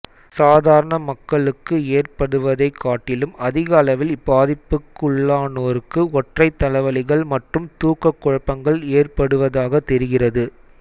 சாதாரண மக்களுக்கு ஏற்படுவதைக் காட்டிலும் அதிகளவில் இப்பாதிப்புக்குள்ளானோருக்கு ஒற்றைத் தலைவலிகள் மற்றும் தூக்கக் குழப்பங்கள் ஏற்படுவதாகத் தெரிகிறது